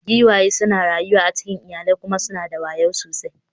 Giwaye suna rayuwa a cikin iyalai kuma suna da wayo sosai.